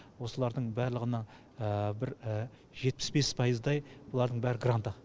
осылардың барлығыны бір жетпіс бес пайыздай бұлардың бәрі гранта